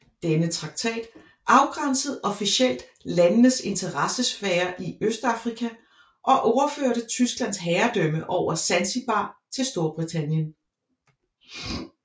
Denne traktat afgrænsede officielt landenes interessesfærer i Østafrika og overførte Tysklands herredømme over Zanzibar til Storbritannien